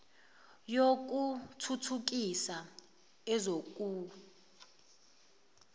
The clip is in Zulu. yoku thuthukisa ezoku